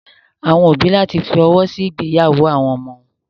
Àwọn òbí ní láti fọwọ́ sí ìgbéyàwó àwọn ọmọ wọn.